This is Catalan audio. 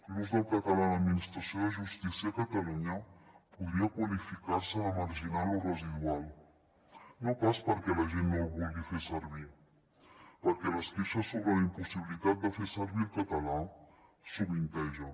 l’ús del català a l’administració de justícia a catalunya podria qualificar se de marginal o residual no pas perquè la gent no el vulgui fer servir perquè les queixes sobre la impossibilitat de fer servir el català sovintegen